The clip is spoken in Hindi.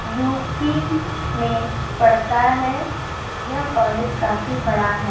यु.पी. में पड़ता है। यह कॉलेज काफी बड़ा है।